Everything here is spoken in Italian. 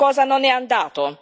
Qualcosa non è andato.